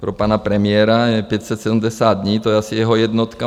Pro pana premiéra je 570 dní, to je asi jeho jednotka.